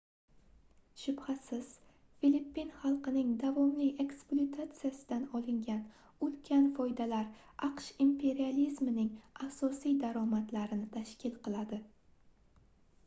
shubhasiz filippin xalqining davomli ekspluatatsiyasidan olingan ulkan foydalar aqsh imperializmining asosiy daromadlarini tashkil qiladi